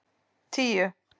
tíu